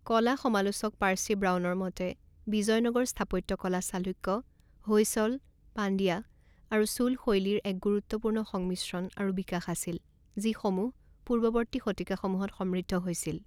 কলা সমালোচক পাৰ্চি ব্ৰাউনৰ মতে, বিজয়নগৰ স্থাপত্যকলা চালুক্য, হৈসল, পাণ্ডিয়া আৰু চোল শৈলীৰ এক গুৰুত্বপূৰ্ণ সংমিশ্ৰণ আৰু বিকাশ আছিল, যি সমূহ পূৰ্বৱৰ্তী শতিকাসমূহত সমৃদ্ধ হৈছিল।